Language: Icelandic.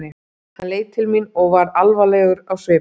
Hann leit til mín og varð alvarlegur á svipinn.